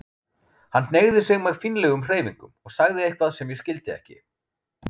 Hann hneigði sig með fínlegum hreyfingum og sagði eitthvað sem ég skildi ekki.